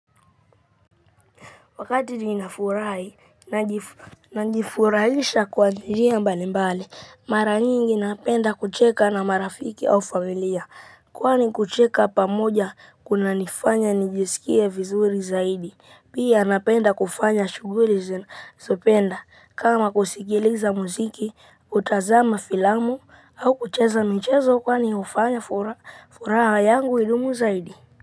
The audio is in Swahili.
Wakati ninafurahi, najifurahisha kwa njia mbalimbali. Mara nyingi napenda kucheka na marafiki au familia, kwani kucheka pamoja kunanifanya nijisikie vizuri zaidi. Pia napenda kufanya shughuli. Ninazozipenda kama kusikiliza muziki, kutazama filamu au kucheza michezo kwani hufanya furaha yangu idumu zaidi.